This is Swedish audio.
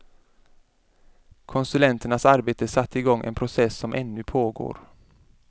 Konsulternas arbete satte i gång en process som ännu pågår.